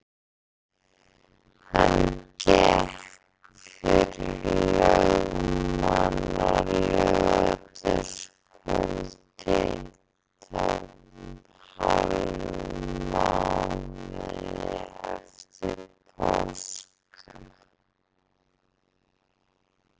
Hann gekk fyrir lögmann á laugardagskvöldi, tæpum hálfum mánuði eftir páska.